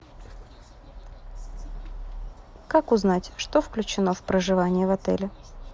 как узнать что включено в проживание в отеле